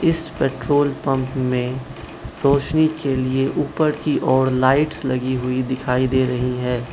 इस petrol pump में रोशनी के लिए ऊपर की ओर लाइट्स लगी हुई दिखाई दे रही है।